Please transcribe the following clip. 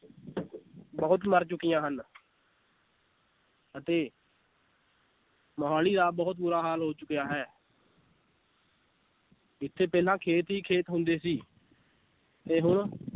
ਬਹੁਤ ਮਰ ਚੁੱਕੀਆਂ ਹਨ ਅਤੇ ਮੁਹਾਲੀ ਆਹ ਬਹੁਤ ਬੁਰਾ ਹਾਲ ਹੋ ਚੁੱਕਿਆ ਹੈ ਇੱਥੇ ਪਹਿਲਾਂ ਖੇਤ ਹੀ ਖੇਤ ਹੁੰਦੇ ਸੀ ਤੇ ਹੁਣ